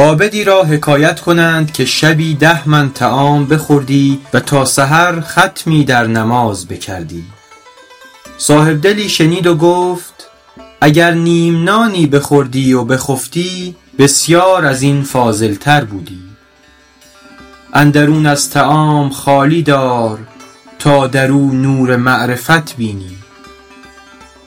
عابدی را حکایت کنند که شبی ده من طعام بخوردی و تا سحر ختمی در نماز بکردی صاحبدلی شنید و گفت اگر نیم نانی بخوردی و بخفتی بسیار از این فاضل تر بودی اندرون از طعام خالی دار تا در او نور معرفت بینی